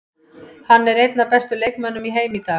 Hann er einn af bestu leikmönnum í heimi í dag.